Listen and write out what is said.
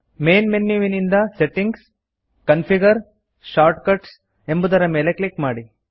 main ಮೆನ್ಯುವಿನಿಂದ settings configure shortcuts ಎಂಬುದರ ಮೇಲೆ ಕ್ಲಿಕ್ ಮಾಡಿ